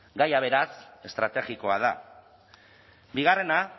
gaia beraz estrategikoa da bigarrena